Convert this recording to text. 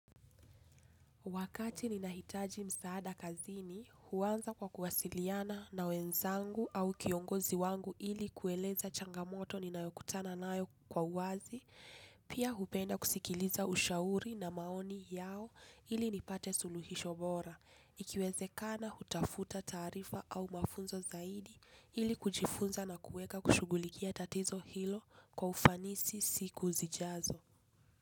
Wakati ninahitaji msaada kazini, huanza kwa kuwasiliana na wenzangu au kiongozi wangu ili kueleza changamoto ninayokutana nayo kwa uwazi, pia hupenda kusikiliza ushauri na maoni yao ili nipate suluhisho bora, ikiwezekana hutafuta taarifa au mafunzo zaidi ili kujifunza na kuweka kushughulikia tatizo hilo kwa ufanisi siku zijazo.